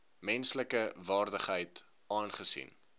menslike waardigheid aangesien